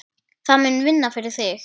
Það mun vinna fyrir þig.